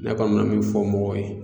Ne kɔni bɛna min fɔ mɔgɔw ye.